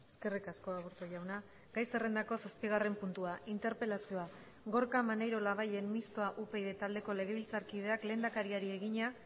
eskerrik asko aburto jauna gai zerrendako zazpigarren puntua interpelazioa gorka maneiro labayen mistoa upyd taldeko legebiltzarkideak lehendakariari egina